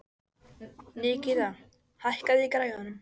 Nikíta, hækkaðu í græjunum.